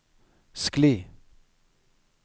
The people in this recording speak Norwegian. skli